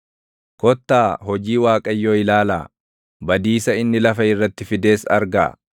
Kottaa, hojii Waaqayyoo ilaalaa; badiisa inni lafa irratti fides argaa.